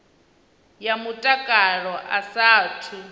ya mutakalo a sa athu